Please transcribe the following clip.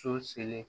So selen